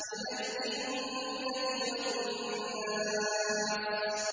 مِنَ الْجِنَّةِ وَالنَّاسِ